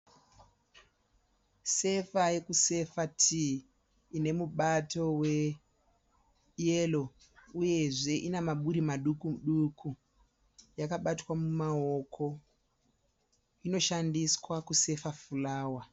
Sefa yekufa tii ine mubato weyero uyezve ina maburi maduki duku. Yakabatwa mumaoko. Inoshandiswa kusefa furawa.